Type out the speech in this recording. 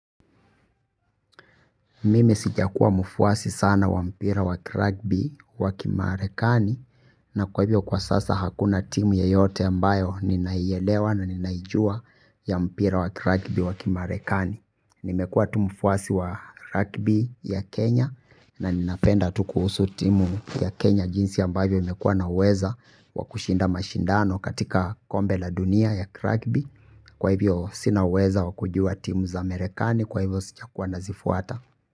Mimi sijakuwa mfuasi sana wa mpira wa kragbi wa kimarekani. Na kwa hivyo kwa sasa hakuna timu yeyote ambayo ninaielewa na ninaijua ya mpira wa kiragbi wa kimarekani. Nimekua tu mfuasi wa ragbi ya kenya. Na ninapenda tu kuhusu timu ya kenya jinsi ambayo imekua na uweza wakushinda mashindano katika kombe la dunia ya kiragbi. Kwa hivyo sina uweza wakujua timu za amerekani kwa hivyo sija kuwa nazifuata.